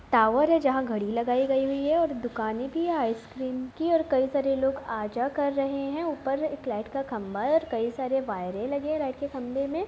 Tower है जहाँ घड़ी लगाई गई हुई है और दुकानें भी है आइसक्रीम की और कई सारे लोग आ जा कर रहे है। ऊपर एक लाइट का खंभा है और कई सारे वायरे लगे हैं लाइट के खंबे में।